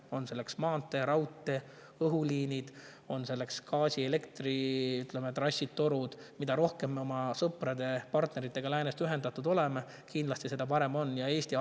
On selleks maantee, raudtee, õhuliinid, on selleks gaasi‑ või elektritrassid – mida rohkem me oma sõpradega, partneritega läänest, ühendatud oleme, seda parem kindlasti on.